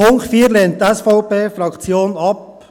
Den Punkt 4 lehnt die SVP-Fraktion ab.